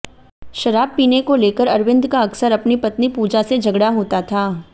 शराब पीने को लेकर अरविंद का अक्सर अपनी पत्नी पूजा से झगड़ा होता था